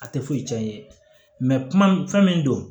A tɛ foyi tiɲɛ i ye kuma min fɛn min don